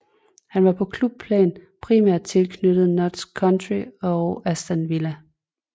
Han var på klubplan primært tilknyttet Notts County og Aston Villa